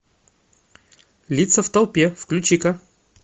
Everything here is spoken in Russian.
лица в толпе включи ка